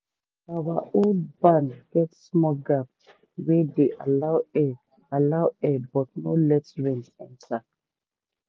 our old barn get small gap wey dey allow air allow air but no let rain enter.